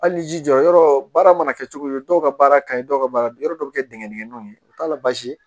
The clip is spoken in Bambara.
Hali n'i jija yɔrɔ baara mana kɛ cogo cogo dɔw ka baara ka ɲi dɔw ka baara yɔrɔ dɔw bɛ kɛ digɛnw ye u t'a la basi